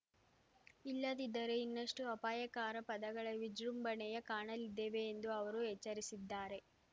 ಇಲ್ಲದಿದ್ದರೆ ಇನ್ನಷ್ಟುಅಪಾಯಾಕರ ಪದಗಳ ವಿಜೃಂಭಣೆಯ ಕಾಣಲಿದ್ದೇವೆ ಎಂದೂ ಅವರು ಎಚ್ಚರಿಸಿದ್ದಾರೆ